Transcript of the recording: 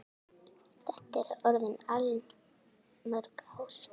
Þetta eru orðin allmörg ár.